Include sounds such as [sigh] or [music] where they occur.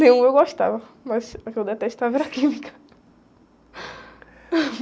Nenhuma eu gostava, mas a que eu detestava era química. [laughs]